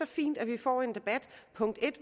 fint at vi får en debat